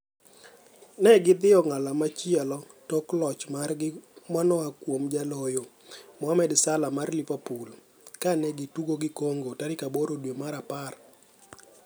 negi dhi e ong'ala machielo tok loch margi manoa kuom jaloyo Mohamed Salah mar Liverpool kane gi tugo gi Congo tarik 8 dwe mar apar.